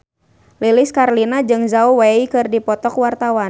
Lilis Karlina jeung Zhao Wei keur dipoto ku wartawan